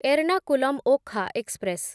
Ernakulam Okha express